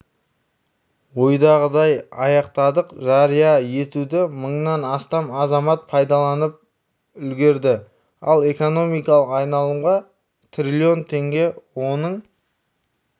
ойдағыдай аяқтадық жария етуді мыңнан астам азамат пайдаланып үлгірді ал экономикалық айналымға трлн теңге оның